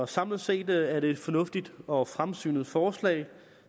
samlet set er det et fornuftigt og fremsynet forslag